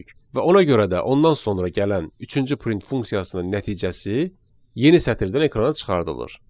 Və ona görə də ondan sonra gələn üçüncü print funksiyasının nəticəsi yeni sətirdən ekrana çıxarılır.